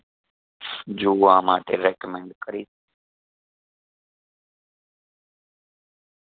જોવા માટે recommend કરીશ